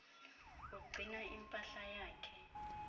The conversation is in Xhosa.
ugcina impahla yakhe